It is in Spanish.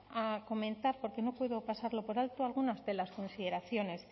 a comentar porque no puedo pasarlo por alto algunas de las consideraciones